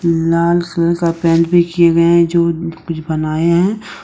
लाल का पेंट भी किए गए हैं जो कुछ बनाए हैं।